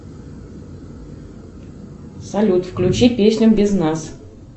салют включи песню без нас